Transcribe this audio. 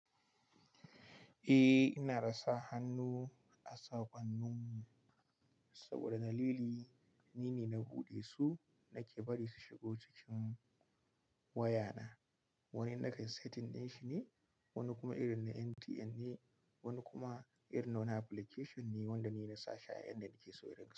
Eh ina dasa hannu a sakwannin mu saboda dalili nine na buɗe su nake bari su shiga cikin wayana. Wani na kai setting ɗin shine, wani kuma irin na MTN ne, wani kuma irin na wani application ne wanda nine na sashi a yan da nake so irin ka.